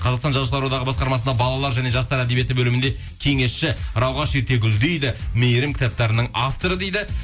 қазақстан жазушылар одағы басқармасында балалар және жастар әдебиеті бөлімінде кеңесші ерте гүлдейді мейірім кітаптарының авторы дейді